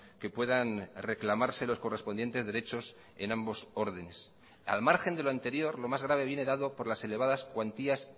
que puedan reclamarse los correspondientes derechos en ambos órdenes al margen de lo anterior lo más grave viene dado por las elevadas cuantías